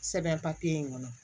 Sɛbɛn papiye in kɔnɔ